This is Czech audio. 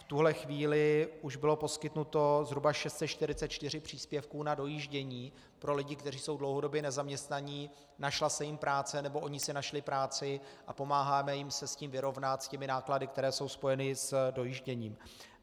V tuto chvíli už bylo poskytnuto zhruba 644 příspěvků na dojíždění pro lidi, kteří jsou dlouhodobě nezaměstnaní, našla se jim práce nebo oni si našli práci, a pomáháme jim se s tím vyrovnat, s těmi náklady, které jsou spojeny s dojížděním.